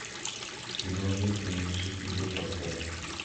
кино мир принадлежит тебе поставь